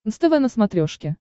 нств на смотрешке